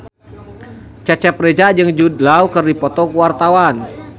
Cecep Reza jeung Jude Law keur dipoto ku wartawan